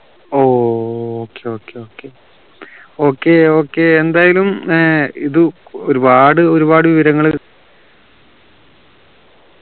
ഓ okay okay okay okay okay എന്തായാലും ഇത് ക് ഒരുപാട് ഒരുപാട് വിവരങ്ങള്